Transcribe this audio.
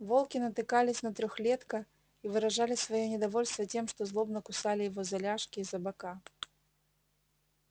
волки натыкались на трёхлетка и выражали своё недовольство тем что злобно кусали его за ляжки и за бока